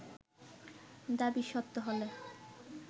দাবী সত্য হলে